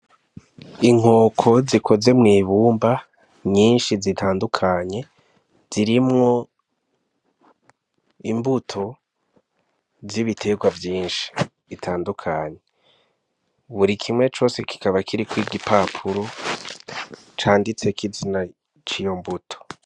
Inkoko zikoze mw'ibumba, nyinshi zitandukanye, zirimwo imbuto z'ibiterwa vyinshi bitandukanye. Buri kimwe cose kikaba kiriko igipapuro, canditseko izina c'iyo mbuto.